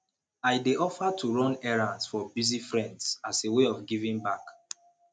i dey offer to run errands for busy friends as a way of giving back